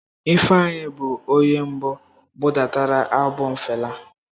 Ifeanyi bụ onye mbụ budatara albọm Fela.